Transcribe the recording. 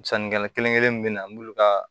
Sannikɛla kelen kelen min be na an b'olu ka